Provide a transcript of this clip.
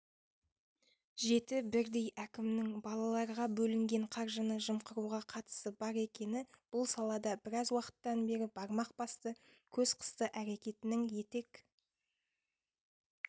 жеті бірдей әкімнің балаларға бөлінген қаржыны жымқыруға қатысы бар екені бұл салада біраз уақыттан бері бармақ басты көз қысты әрекетінің етек